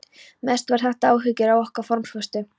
Mest voru þetta áhyggjur af okkar formföstu